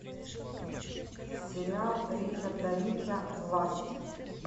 сериал ричарда рича власть